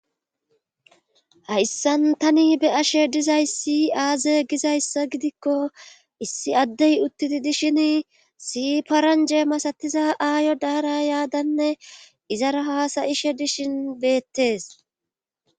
hayssan tani be'ashe dizaysi aaze gizayssa gidikko issi addey uttidi dishin issi paranje masatiza aayo daara yaadanne izara haasayishe dishin beettees